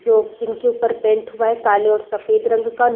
जो जिनके उपर पैन्ट हुआ है काले और सफ़ेद रंग का --